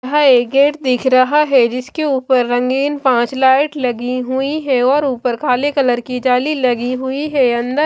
यह एक गेट दिख रहा है जिसके ऊपर रंगीन पांच लाइट लगी हुई है और ऊपर काले कलर की जाली लगी हुई है अंदर--